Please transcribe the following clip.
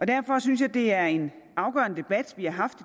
derfor synes jeg det er en afgørende debat vi har haft